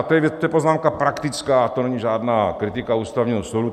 A to je poznámka praktická, to není žádná kritika Ústavního soudu.